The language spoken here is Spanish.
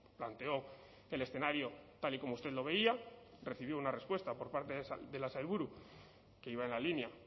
planteó el escenario tal y como usted lo veía recibió una respuesta por parte de la sailburu que iba en la línea